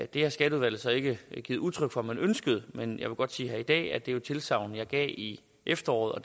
det har skatteudvalget så ikke givet udtryk for at man ønskede men jeg vil godt sige her i dag at det jo er et tilsagn jeg gav i efteråret og